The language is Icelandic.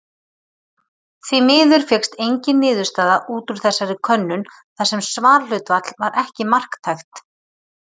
Því miður fékkst engin niðurstaða út úr þessari könnun þar sem svarhlutfall var ekki marktækt.